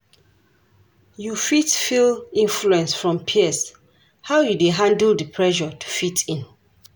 You fit feel influence from peers, how you dey handle di pressure to fit in?